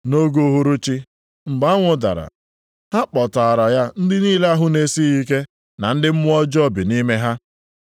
Nʼoge uhuruchi, mgbe anwụ dara, ha kpọtaara ya ndị niile ahụ na-esighị ike na ndị mmụọ ọjọọ bi nʼime ha.